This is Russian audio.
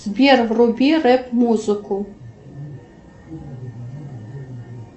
сбер вруби рэп музыку